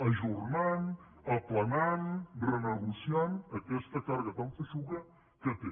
ajornant aplanant renegociant aquesta càrrega tan feixuga que té